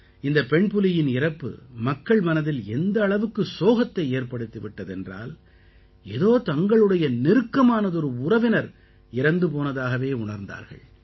இந்தப் பெண்புலியின் இறப்பு மக்கள் மனதில் எந்த அளவுக்கு சோகத்தை ஏற்படுத்தி விட்டது என்றால் ஏதோ தங்களுடைய நெருக்கமானதொரு உறவினர் இறந்து போனதாகவே உணர்ந்தார்கள்